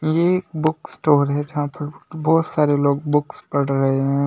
ये एक book store है जहां पर बहुत सारे लोग बुक्स पढ़ रहे है।